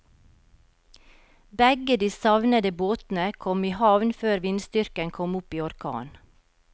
Begge de savnede båtene kom i havn før vindstyrken kom opp i orkan.